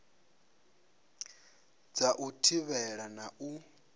dza u thivhela na u